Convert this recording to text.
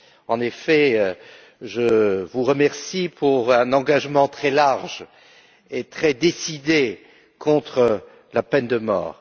En effet, je vous remercie pour un engagement très large et très décidé contre la peine de mort.